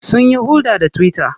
Sunyi hulɗa ta twitter.